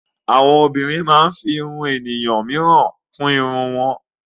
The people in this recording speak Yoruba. Àwọn obìnrin máa ń fí ìrún ènìyàn míràn kún ìrún wọn.